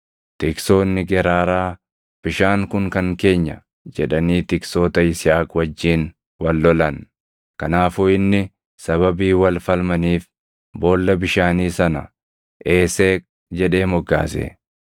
Tiksoonni Geraaraa, “Bishaan kun kan keenya!” jedhanii tiksoota Yisihaaq wajjin wal lolan. Kanaafuu inni sababii wal falmaniif boolla bishaanii sana, “Eeseeq” jedhee moggaase.